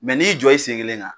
Mɛ n'i y'i jɔ i sen kelen kan,